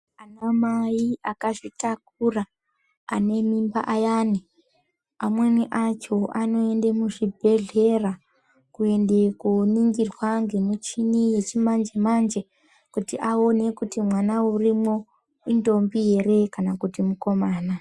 Ana mai akazvitakura ane mimba ayani, amweni acho anoenda kuzvibhedhlera kuenda koningirwa ngemichini yechimanje manje kuti aone kuti mwana urimo indombie here kana kuti mukomana.